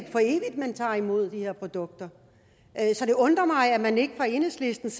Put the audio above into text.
man tager imod de her produkter så det undrer mig at man ikke fra enhedslistens